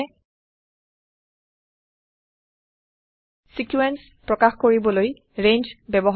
sequence শৃংখল প্ৰকাশ কৰিবলৈ ৰেঞ্জ ব্যৱহাৰ কৰা হয়